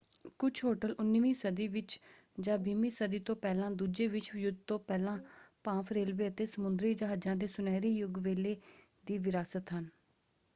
ਕੁੱਝ ਹੋਟਲ 19ਵੀਂ ਸਦੀ ਵਿੱਚ ਜਾਂ 20ਵੀਂ ਸਦੀ ਤੋਂ ਪਹਿਲਾਂ ਦੂਜੇ ਵਿਸ਼ਵ ਯੁੱਧ ਤੋਂ ਪਹਿਲਾਂ ਭਾਫ਼ ਰੇਲਵੇ ਅਤੇ ਸਮੁੰਦਰੀ ਜਹਾਜ਼ਾਂ ਦੇ ਸੁਨਹਿਰੀ ਯੁੱਗ ਵੇਲੇ ਦੀ ਵਿਰਾਸਤ ਹਨ।